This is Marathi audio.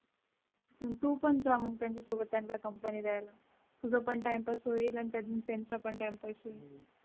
तू पण जा मग त्यांच्या सोबत त्यांना कंपनी द्यायला तुझं पण टाइमपास होईल आणि त्यातून त्यांचा पण टाइम पैसे.